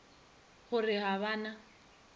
go re ga ba na